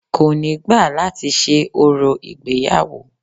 Kò ni gba láti ṣe orò ìgbéyàwó